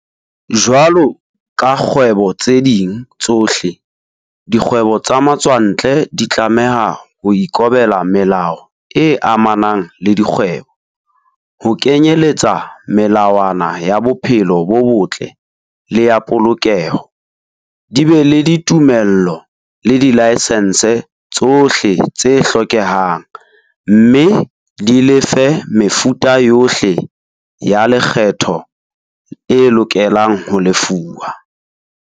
Jwalo ka dikgwebo tse ding tsohle, dikgwebo tsa matswantle di tlameha ho ikobela melao e amanang le dikgwebo, ho kenyeletsa melawana ya bophelo bo botle le ya polokeho, di be le ditumello le dilaesense tsohle tse hlokehang, mme di lefe mefuta yohle ya lekgetho e lokelang ho lefuwa.